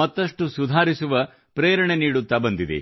ಮತ್ತಷ್ಟು ಸುಧಾರಿಸುವ ಪ್ರೇರಣೆ ನೀಡುತ್ತಾ ಬಂದಿದೆ